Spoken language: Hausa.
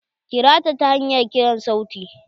Kira ta ta hanyar kiran sauti.